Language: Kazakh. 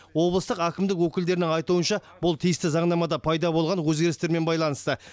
облыстық әкімдік өкілдерінің айтуынша бұл тиісті заңнамада пайда болған өзгерістермен байланысты